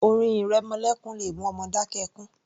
Orin ìrẹmọlékún le mú ọmọ dákẹ́ ẹkún